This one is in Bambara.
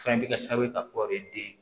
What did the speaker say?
Fɛn bɛ kɛ sababu ye ka kɔri den ye